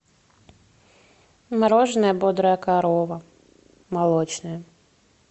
мороженое бодрая корова молочное